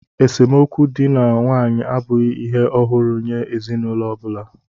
Esemokwu dị na nwaanyị abụghị ihe ọhụrụ nye ezinụlọ ọ bụla